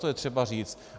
To je třeba říct.